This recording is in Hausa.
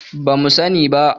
Ba mu sani ba.